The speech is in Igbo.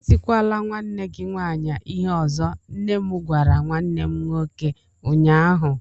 Etikwala nwanne gị nwanyị ịhe ọzọ! nnem gwara nwannem nwoke ụnyaahụ.